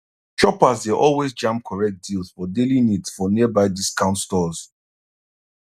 shoppers dey always jam correct deals for daily needs for nearby discount stores